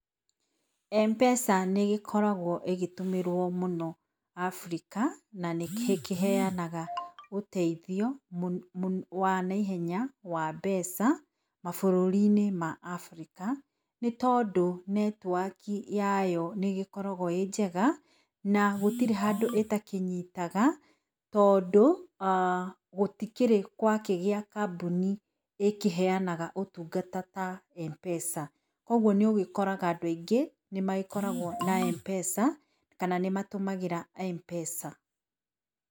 Mpesa nĩ gĩkoragwo ĩgĩtũmĩrwo mũno Africa na nĩkĩheanaga ũteithio wanaihenya wa mbeca mabũrũriinĩ ma Africa nĩ tondũ netiwaki yayo nĩ gĩkoragwo ĩnjega na gũtirĩ handũ ĩtakĩnyitaga tondũ [ah]gũtikĩrĩ gwakĩgĩa kambuni ĩkĩheanaga ũtungata ta Mpesa. Koguo nĩũgĩkoraga andũ aingĩ nĩ magĩkoragwo na Mpesa kana nĩmatũmagĩra Mpesa.